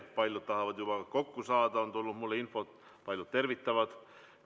Paljud tahavad juba kokku saada, on tulnud mulle infot, paljud tervitavad.